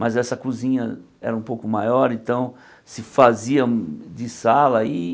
Mas essa cozinha era um pouco maior, então se fazia de sala e.